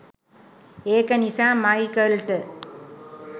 ඒක නිසා මයිකල්ට